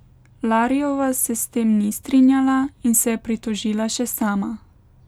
Lariova se s tem ni strinjala in se je pritožila še sama.